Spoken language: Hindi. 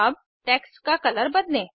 अब टेक्स्ट का कलर बदलें